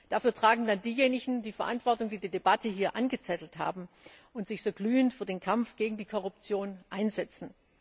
Dafür tragen dann diejenigen die Verantwortung, die die Debatte hier angezettelt haben und sich so glühend für den Kampf gegen die Korruption einsetzen.